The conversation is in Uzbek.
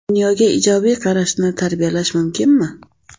Dunyoga ijobiy qarashni tarbiyalash mumkinmi?